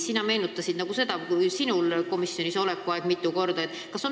Sina meenutasid oma komisjonis oleku aega.